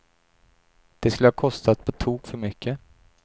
Det skulle ha kostat på tok för mycket.